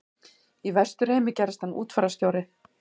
Í Vesturheimi gerðist hann útfararstjóri.